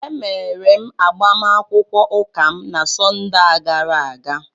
Emere m agbamakwụkwọ ụka m na Sọnde a gara aga